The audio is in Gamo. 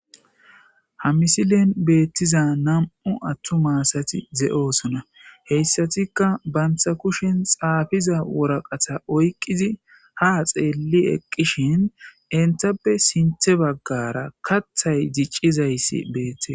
ha misilen beettiza nam7'u attu maasati ze7'oosona heyssatikka bantha kushen xaafiza woraqata oyqizi ha xeelli eqqishin entappe sinthe baggara kathay diccizayssi beette